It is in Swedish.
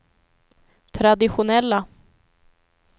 traditionella